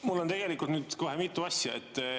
Mul on tegelikult kohe mitu asja.